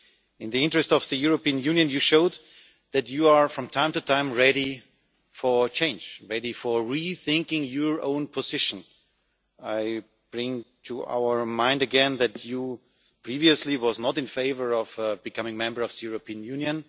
In the interest of the European Union you showed that you are from time to time ready for change, ready to rethink your own position. I bring to our mind again that you were not previously in favour of Malta becoming a member of the European Union.